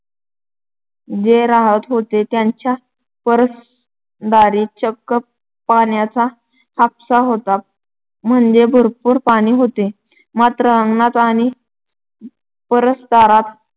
जे राहत होते, त्यांच्या परसदारी चक्क पाण्याचा हापसा होता. म्हणजे भरपूर पाणी होतं. मात्र अंगणात आणि परसदारात